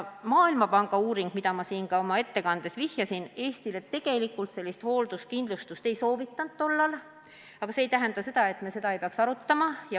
Maailmapanga uuring, millele ma oma ettekandes viitasin, Eestile tegelikult sellist hoolduskindlustust omal ajal ei soovitanud, aga see ei tähenda seda, et me ei peaks seda arutama.